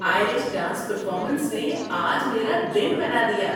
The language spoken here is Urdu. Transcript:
آئرش ڈانس پرفارمنس نے آج میرا دن بنا دیا۔